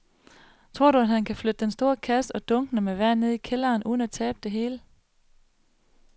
Tror du, at han kan flytte den store kasse og dunkene med vand ned i kælderen uden at tabe det hele?